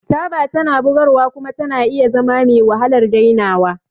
Taba tana bugarwa kuma tana iya zama mewahalar dainawa.